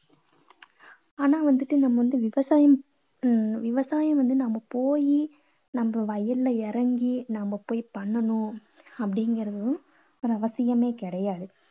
ஆனா வந்துட்டு நம்ம வந்து விவசாயம் ஆஹ் விசாயம் வந்து நம்ம போயி நம்ம வயல்ல இறங்கி, நாம போய் பண்ணணும் அப்படீங்கிறதும் அவசியமே கிடையாது.